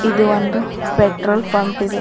ಇದು ಒಂದು petrol pump ಇದೆ.